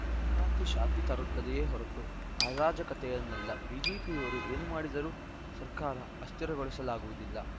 ಸಂಕ್ರಾಂತಿ ಶಾಂತಿ ತರುತ್ತದೆಯೇ ಹೊರತು ಅರಾಜಕತೆಯನ್ನಲ್ಲ ಬಿಜೆಪಿಯವರು ಏನು ಮಾಡಿದರೂ ಸರ್ಕಾರ ಅಸ್ಥಿರಗೊಳಿಸಲಾಗುವುದಿಲ್ಲ